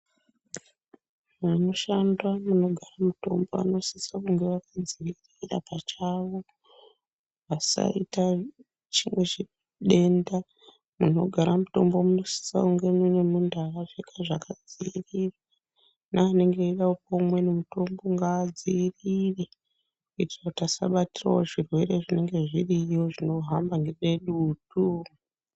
Anoshanda munogara mutombo anosisa kunge akadzivirira pachavo. Vasaita chimwe chidenda munogara mutombo munosisa kunge mune muntu akapfeka zvakadzirirwa. Neamweni anonga eida kupuva umweni mutombo ngaadzirire. Kuitara kuti asabatiravo zvirwere zvinenge zviriyo zvinohamba ngedutu.